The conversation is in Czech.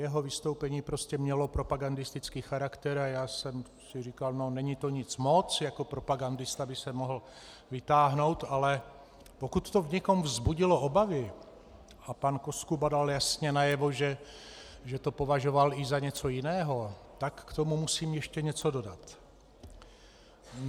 Jeho vystoupení prostě mělo propagandistický charakter a já jsem si říkal: no, není to nic moc, jako propagandista by se mohl vytáhnout, ale pokud to v někom vzbudilo obavy - a pan Koskuba dal jasně najevo, že to považoval i za něco jiného, tak k tomu musím ještě něco dodat.